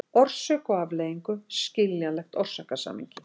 orsök og afleiðingu, skiljanlegt orsakasamhengi.